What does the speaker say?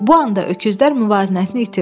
Bu anda öküzlər müvazinətini itirdi.